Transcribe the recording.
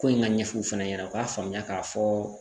Ko in ka ɲɛfɔ u fana ɲɛna u k'a faamuya k'a fɔ